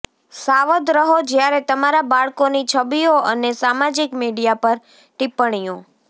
સાવધ રહો જ્યારે તમારા બાળકોની છબીઓ અને સામાજિક મીડિયા પર ટિપ્પણીઓ